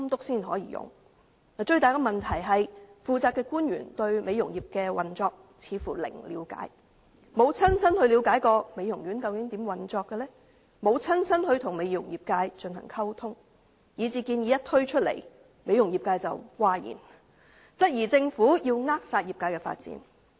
最大的問題是，負責官員對美容業的運作似乎零了解，沒有親身了解美容院究竟如何運作，沒有親身與美容業界進行溝通，以致建議一推出，美容業界譁然，質疑政府扼殺業界的發展。